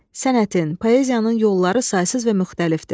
Sənətin, poeziyanın yolları saysız və müxtəlifdir.